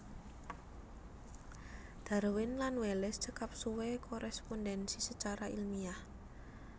Darwin lan Wallace cekap suwé koréspondhensi sacara ilmiah